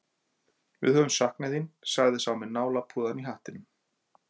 Við höfum saknað þín, sagði sá með nálapúðann í hattinum.